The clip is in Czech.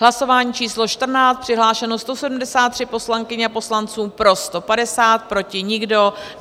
Hlasování číslo 14, přihlášeno 173 poslankyň a poslanců, pro 150, proti nikdo.